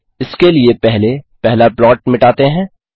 इसके लिए पहले पहला प्लॉट मिटाते हैं